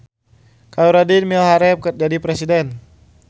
Khoerudin miharep jadi presiden